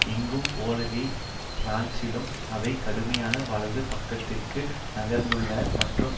எங்கும் போலவே பிரான்சிலும் அவை கடுமையாக வலது பக்கத்திற்கு நகர்ந்துள்ளன மற்றும்